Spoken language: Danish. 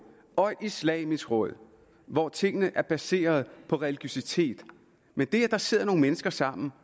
og et islamisk råd hvor tingene er baseret på religiøsitet men det at der sidder nogle mennesker sammen